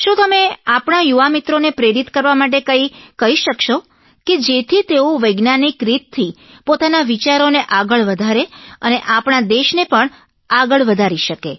શું તમે આપણાં યુવામિત્રોને પ્રેરિત કરવા માટે કંઇક કહી શકશો કે જેથી તેઓ વૈજ્ઞાનિક રીતથી પોતાના વિચારોને આગળ વધારે અને આપણાં દેશને પણ આગળ વધારી શકે